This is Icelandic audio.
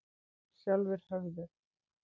Sjálfir höfðu